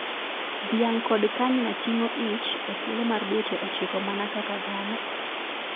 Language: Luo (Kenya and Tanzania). Dhiang kod kanyna ting'o ich ethuolo mar dweche ochiko mana kaka dhano.